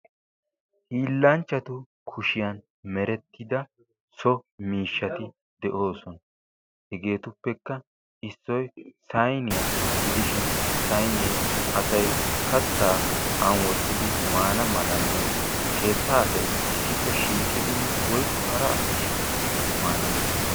hiillanchchatu so kushiyan merettida miishshati de'oosona. hegeetuppekka issoy sayiniya gidishin sayinee asay katta an wottidi maana malanne keettaa asay shiiqidi woyikko hara asay shiiqidi maana mala maaddes.